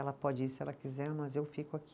Ela pode ir se ela quiser, mas eu fico aqui.